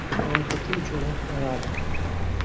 Halokatga uchragan Ferrari.